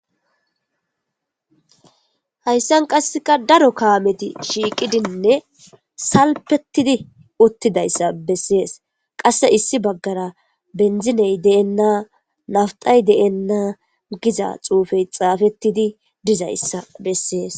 Hayssan qasseka daro kaameti shiiqidinne salpettidi uttidayssa bessees qasse issi baggara benziney deenna nawtay deenna giza xuufey xaafettidi dizayssa bessees